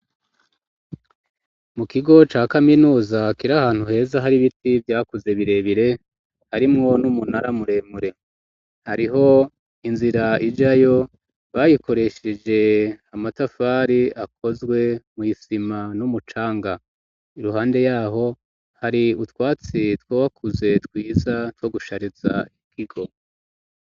Mu kigo ca kaminuza kir'ahantu heza hari biti vyakuze birebire ,harimwo n'umunara muremure ,hariho inzira ijayo bayikoresheje amatafari akozwe mw'isima n'umucanga, iruhande yaho hari utwatsi twowakuze twiza two gushariza ikigo.